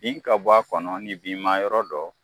Nin ka bɔ a kɔnɔ ni binma yɔrɔ don